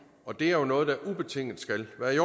og det er jo noget der ubetinget skal være i